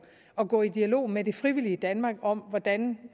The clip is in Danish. at gå i dialog med det frivillige danmark om hvordan